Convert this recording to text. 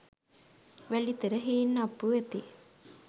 වැලිතර හීන්අප්පු වෙති.